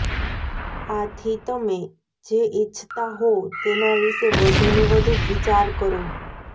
આથી તમે જે ઈચ્છતા હોવ તેના વિષે વધુને વધુ વિચાર કરો